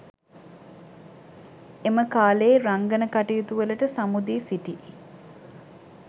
එම කාලයේ රංගන කටයුතුවලට සමු දී සිටි